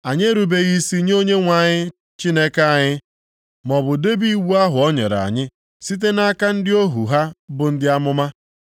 Anyị erubeghị isi nye Onyenwe anyị Chineke anyị, maọbụ debe iwu ahụ o nyere anyị site nʼaka ndị ohu ha bụ ndị amụma.